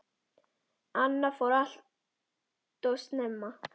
Anna fór allt of snemma.